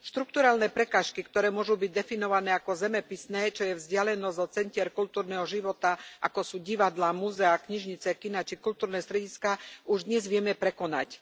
Štrukturálne prekážky, ktoré môžu byť definované ako zemepisné, čo je vzdialenosť od centier kultúrneho života, ako sú divadlá, múzeá, knižnice, kiná či kultúrne strediská, už dnes vieme prekonať.